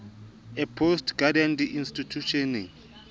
a post graduate di institjhusheneng